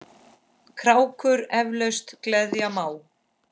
krákur eflaust gleðja má.